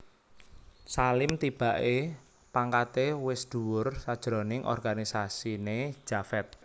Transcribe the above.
Salim tibaké pangkaté wis dhuwur sajroning organisasiné Javed